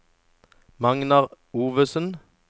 Magnar Ovesen